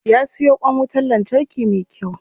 Ya siyo kwan wutan lantarki me kyau.